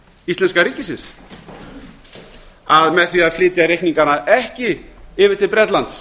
íslenska ríkisins að með því að flytja reikningana ekki yfir til bretlands